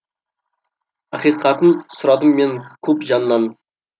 ақиқатын сұрадым мен көп жаннан